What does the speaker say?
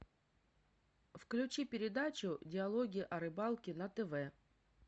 включи передачу диалоги о рыбалке на тв